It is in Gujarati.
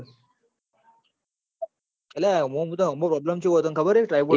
અલા આમો problem ચેવો હતો ખબર હ